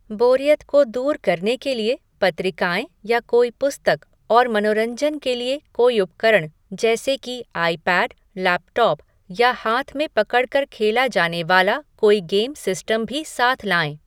बोरियत को दूर करने के लिए पत्रिकाएँ या कोई पुस्तक और मनोरंजन के लिए कोई उपकरण जैसे कि आईपैड, लैपटॉप या हाथ में पकड़ कर खेला जाने वाला कोई गेम सिस्टम भी साथ लाएँ।